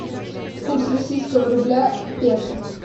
курс российского рубля к песо